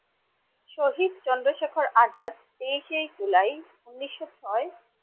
শহীদ চন্দ্রশেখর আজাদ তেইশে জুলাই উনিশশো ছয়।